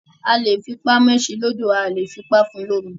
A lè fi ipá mẹ́ṣin lodò, A ò lè fi ipá fún un lómi.